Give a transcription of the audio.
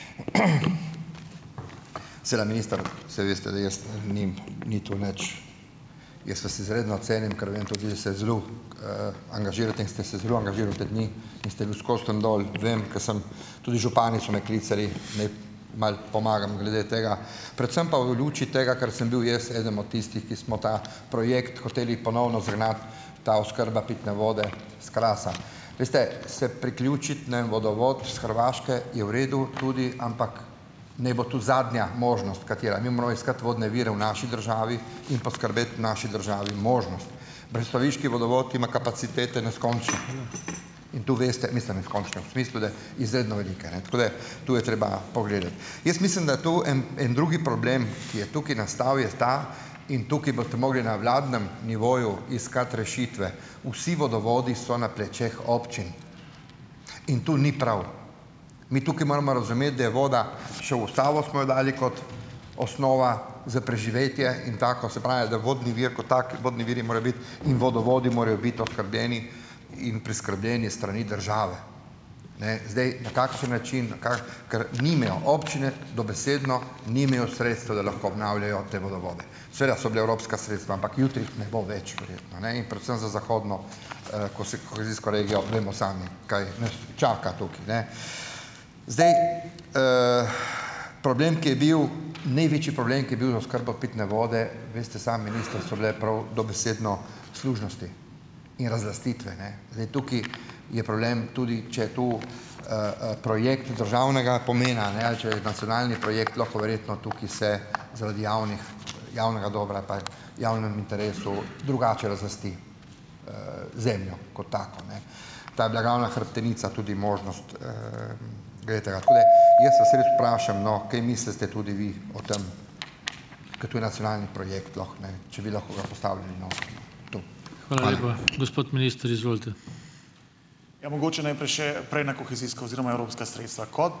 Seveda, minister, saj veste, da jaz, ni ni to nič ... Jaz vas izredno cenim, ker vem tudi da se zelo, angažirate in ste se zelo angažiral te dni in ste bil "skozi" tam dol. Vem, ker sem, tudi župani so me klicali, ne, malo pomagam glede tega, predvsem pa v luči tega, ker sem bil jaz eden od tistih, ki smo ta projekt hoteli ponovno zagnati, ta oskrba pitne vode s Krasa. Veste, se priključiti, ne vem, vodovod s Hrvaške, je v redu, tudi, ampak, ne bo tu zadnja možnost, katera. Mi moramo iskati vodne vire v naši državi in poskrbeti v naši državi možnost. Brestoviški vodovod ima kapacitete neskončno in to veste, mislim, neskončno, v smislu da, izredno velike, ne, tako da, tu je treba pogledati. Jaz mislim, da tu en, en drugi problem, ki je tukaj nastal, je ta in tukaj boste mogli na vladnem nivoju iskati rešitve - vsi vodovodi so na plečih občin in to ni prav. Mi tukaj moramo razumeti, da je voda, še v ustavo smo jo dali kot osnova za preživetje in tako, se pravi, da vodni vir kot tak, vodni viri morajo biti in vodovodi morajo biti oskrbljeni in preskrbljeni s strani države. Ne, zdaj, na kakšen način, kako ker nimajo občine dobesedno, nimajo sredstev, da lahko obnavljajo te vodovode. Seveda so bila evropska sredstva, ampak jutri jih ne bo več, verjetno ne in predvsem za zahodno, kohezijsko regijo, vemo sami, kaj nas čaka tukaj, ne. Zdaj, problem, ki je bil, največji problem, ki je bil z oskrbo pitne vode, veste sami, minister, so bile prav dobesedno služnosti in razlastitve, ne. Zdaj, tukaj je problem, tudi če je to, projekt državnega pomena, ne, ali če je nacionalni projekt, lahko verjetno tukaj se zaradi javnih javnega dolga ali pa v javnem interesu, drugače razlasti, zemljo kot tako, ne. Ta hrbtenica tudi možnost, Glejte, tako da jaz vas res vprašam, no, kaj mislite tudi vi o tem, ker to je nacionalni projekt lahko, ne? Če bi lahko ga postavili, no, tu?